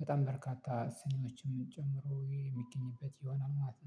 በጣም በርካታ ሲኒዎችም ጨምሮ የሚገኝበት ይሆናል ማለት ነው